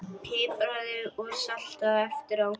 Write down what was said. Pipraðu og saltaðu eftir á.